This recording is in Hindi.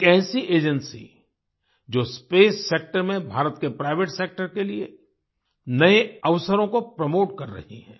एक ऐसी एजेंसी जो स्पेस सेक्टर में भारत के प्राइवेट सेक्टर के लिए नए अवसरों को प्रोमोट कर रही है